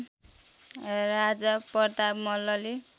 राजा प्रताप मल्लले